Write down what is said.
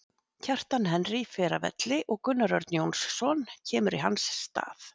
Kjartan Henry fer af velli og Gunnar Örn Jónsson kemur í hans stað.